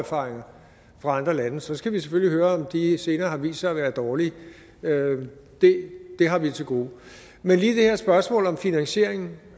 erfaringer fra andre lande så skal vi selvfølgelig høre om de senere har vist sig at være dårlige det har vi til gode men lige i det her spørgsmål om finansieringen